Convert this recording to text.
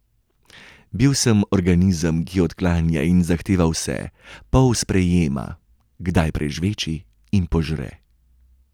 Bil sem organizem, ki odklanja in zahteva vse, pol sprejema, kdaj prežveči in požre.